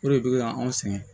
O de bɛ anw sɛgɛn